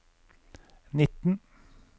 nitten